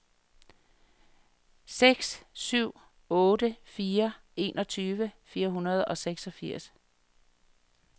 seks syv otte fire enogtyve fire hundrede og seksogfirs